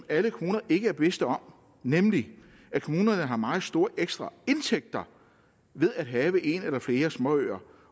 alle kommuner er bevidste om nemlig at kommunerne har meget store ekstra indtægter ved at have en eller flere småøer